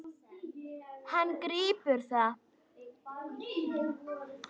Hann grípur það.